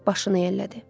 Başını yellədi.